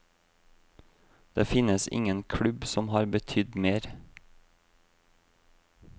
Det finnes ingen klubb som har betydd mer.